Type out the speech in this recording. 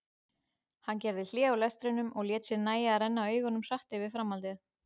Hann gerði hlé á lestrinum og lét sér nægja að renna augunum hratt yfir framhaldið.